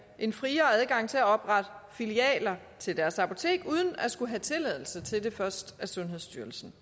en friere adgang til at oprette filialer til deres apoteker uden at skulle have tilladelse til det først af sundhedsstyrelsen